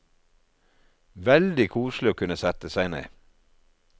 Veldig koselig å kunne sette seg ned.